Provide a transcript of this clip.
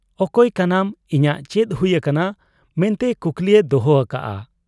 ᱚᱠᱚᱭ ᱠᱟᱱᱟᱢ, ᱤᱧᱟᱜ ᱪᱮᱫ ᱦᱩᱭ ᱟᱠᱟᱱᱟ' ᱢᱮᱱᱛᱮ ᱠᱩᱠᱞᱤᱭ ᱫᱚᱦᱚ ᱟᱠᱟᱜ ᱟ ᱾